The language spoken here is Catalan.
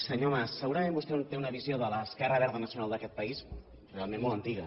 senyor mas segurament vostè té una visió de l’esquerra verda nacional d’aquest país realment molt antiga